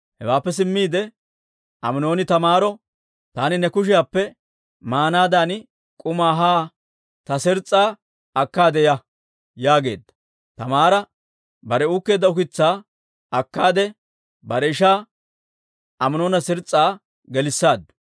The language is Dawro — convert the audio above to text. Hewaappe simmiide Aminooni Taamaaro, «Taani ne kushiyaappe maanaadan k'umaa haa ta siiris'aa akkaade ya» yaageedda; Taamaara bare uukkeedda ukitsaa akkaade, bare ishaa Aminoona siirisaa gelissaaddu.